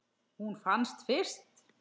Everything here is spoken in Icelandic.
Hún fannst fyrst.